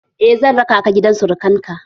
Eh, zan raka ka gidan surakan ka